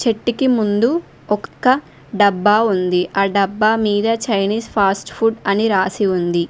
కిటికీ ముందు ఒక్క డబ్బా ఉంది ఆ డబ్బా మీద చైనిస్ ఫాస్ట్ ఫుడ్ అని రాసి ఉంది.